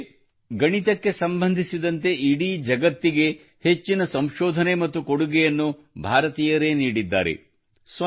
ಏಕೆಂದರೆ ಗಣಿತಕ್ಕೆ ಸಂಬಂಧಿಸಿದಂತೆ ಇಡೀ ಜಗತ್ತಿಗೆ ಹೆಚ್ಚಿನ ಸಂಶೋಧನೆ ಮತ್ತು ಕೊಡುಗೆಯನ್ನು ಭಾರತೀಯರೇ ನೀಡಿದ್ದಾರೆ